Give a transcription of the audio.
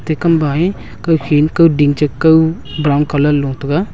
te kambae kawkhin kawding chekaw brown colour lo taiga.